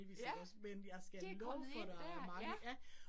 Ja, det kommet ind dér. Ja